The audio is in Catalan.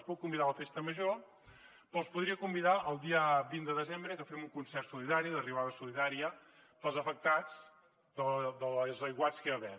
els puc convidar a la festa major però els podria convidar el dia vint de desembre que fem un concert solidari la riuada solidària pels afectats dels aiguats que hi va haver